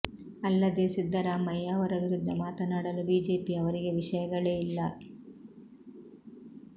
ಅಲ್ಲದೇ ಸಿದ್ದರಾಮಯ್ಯ ಅವರ ವಿರುದ್ಧ ಮಾತನಾಡಲು ಬಿಜೆಪಿ ಅವರಿಗೆ ವಿಷಯಗಳೇ ಇಲ್ಲ